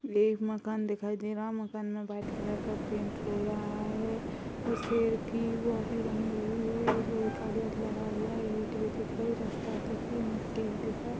ये एक मकान दिखाई दे रहा है। मकान में व्हाइट कलर का पेंट हो रहा है और शेर की वो भी बनी हुई है लोहे का गेट लगा हुआ है। ईट विट दिख रही है रास्ता भी दिख रहा है मिट्टी भी दिख रहा --